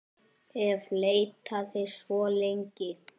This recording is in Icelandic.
hef leitað svo lengi.